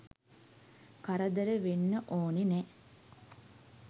කරදර වෙන්න ඕනෙ නෑ.